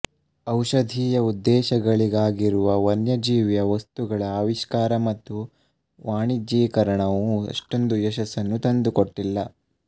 ಔಷಧೀಯ ಉದ್ದೇಶಗಳಿಗಾಗಿರುವ ವನ್ಯಜೀವಿಯ ವಸ್ತುಗಳ ಆವಿಷ್ಕಾರ ಮತ್ತು ವಾಣಿಜ್ಯೀಕರಣವು ಅಷ್ಟೊಂದು ಯಶಸ್ಸನ್ನು ತಂದುಕೊಟ್ಟಿಲ್ಲ